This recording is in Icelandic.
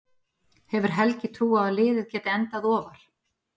Hefur Helgi trú á að liðið geti endað ofar?